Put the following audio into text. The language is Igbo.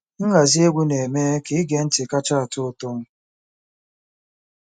Nhazi egwu na-eme ka ige ntị kacha atọ ụtọ.